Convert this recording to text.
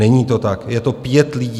Není to tak, je to pět lidí.